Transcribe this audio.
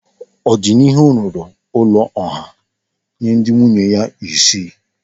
Odenigbo rụrụ ụlọ ọha nye ndị nwunye ya isii.